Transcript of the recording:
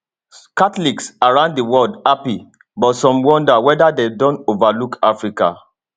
catholics around di world happy but some wonder weda dem don overlook africa